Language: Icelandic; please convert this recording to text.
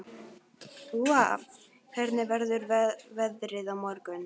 Úa, hvernig verður veðrið á morgun?